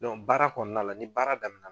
Dɔn baara kɔɔna la ni baara damina